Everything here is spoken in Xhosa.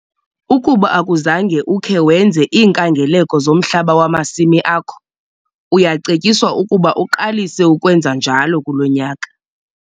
Ukuba akuzange ukhe wenze iinkangeleko zomhlaba wamasimi akho, uyacetyiswa ukuba uqalise ukwenza njalo kulo nyaka.